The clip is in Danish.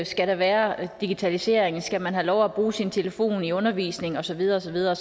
skal være digitalisering og om skal man have lov at bruge sin telefon i undervisningen og så videre og så videre